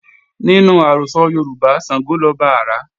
Nínú àrọ́sọ Yoruba, Sàngó lọba àrá